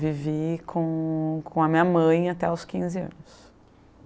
Vivi com com a minha mãe até os quinze anos.